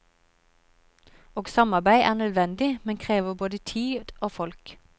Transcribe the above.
Og samarbeid er nødvendig, men krever både tid og folk.